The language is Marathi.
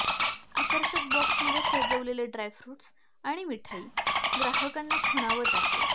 आकर्षक बॉक्समध्ये सजवलेले ड्रायफ्रूटस आणि मिठाई ग्राहकांना खुणावत आहे